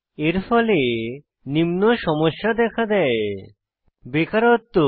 এর ফলে নিম্ন সমস্যা দেখা দেয় বেকারত্ব